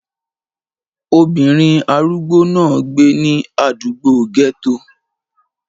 Obìnrin arúgbó náà gbé ní àdúgbò gẹ́tò